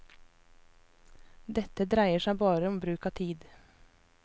Dette dreier seg bare om bruk av tid.